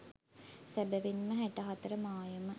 සැබැවින් ම හැට හතර මායම